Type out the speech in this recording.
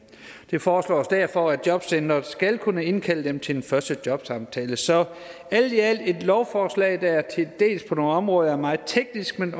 det foreslås derfor at jobcenteret skal kunne indkalde dem til den første jobsamtale så alt i alt er det et lovforslag der på nogle områder er meget teknisk men